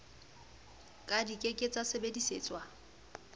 ka di ke ke tsasebedisetswa